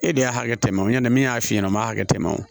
E de y'a hakɛ tɛmɛ o ɲɛna min y'a f'i ɲɛna n m'a hakɛ tɛmɛ o